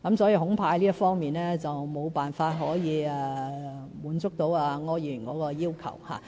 所以，恐怕這方面沒有辦法滿足柯議員的要求。